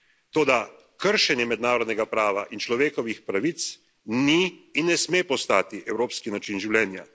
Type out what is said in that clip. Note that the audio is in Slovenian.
Toda kršenje mednarodnega prava in človekovih pravic ni in ne sme postati evropski način življenja.